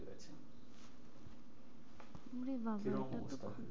ওরে বাবা, কি রম অবস্থা হয়েছে?